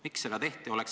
Miks seda tehti?